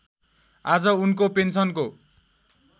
आज उनको पेन्सनको